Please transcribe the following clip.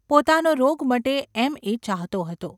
પોતાનો રોગ મટે એમ એ ચાહતો હતો.